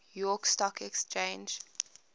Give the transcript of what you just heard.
york stock exchange